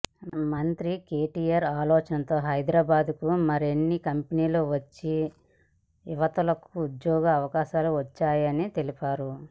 మంత్రి కేటీఆర్ ఆలోచనతో హైదరాబాద్కు మరిన్ని కంపెనీలు వచ్చి యువతకు ఉద్యోగ అవకాశాలు వచ్చాయని తెలిపారు